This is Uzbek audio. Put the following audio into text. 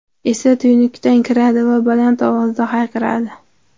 esa tuynukdan kiradi va baland ovozda hayqiradi.